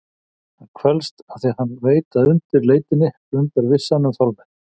Hann kvelst afþvíað hann veit að undir leitinni blundar vissan um fálmið.